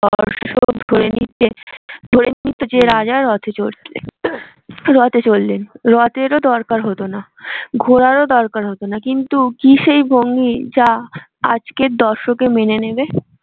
ধরে নিত যে রাজা রথ চড়ছে। রথে চললেন রথেরও দরকার হতো না ঘোড়ারও দরকার হতো না কিন্তু কি সেই ভঙ্গি যা আজকের দর্শক এ মেনে নেবে?